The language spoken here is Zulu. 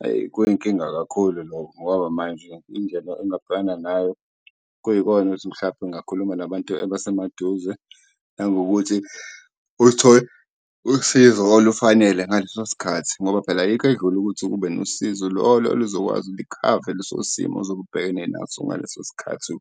Hhayi, kuyinkinga kakhulu lokho, ngoba manje indlela engingabhekana nayo kuyikona ukuthi mhlampe ngingakhuluma nabantu abasemaduze nangokuthi uthole usizo olufanele ngaleso sikhathi ngoba phela ayikho edlula ukuthi ube nosizo lolo oluzokwazi likhave leso simo ozobe ubhekene naso ngaleso sikhathi